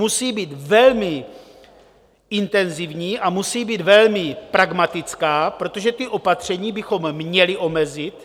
Musí být velmi intenzivní a musí být velmi pragmatická, protože ta opatření bychom měli omezit.